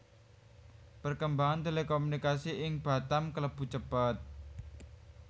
Perkembangan Telekomunikasi ing Batam klebu cepet